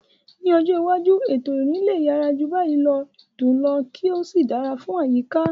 Ní ọjọ́ iwájú, ètò ìrìn lè yára jù báyìí lọ, dùn ún lò, kí ó sì dára fún àyíká.